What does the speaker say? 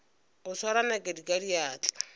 go swara nakedi ka diatla